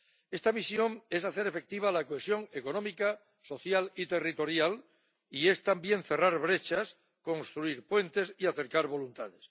Esta misión es hacer efectiva la cohesión económica, social y territorial, y es, también, cerrar brechas, construir puentes y acercar voluntades.